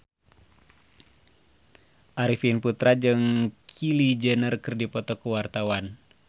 Arifin Putra jeung Kylie Jenner keur dipoto ku wartawan